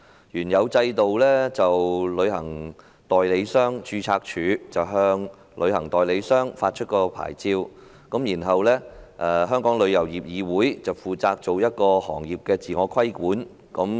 原有的制度是由旅行代理商註冊處向旅行代理商發出牌照，而香港旅遊業議會則負責行業的自我規管。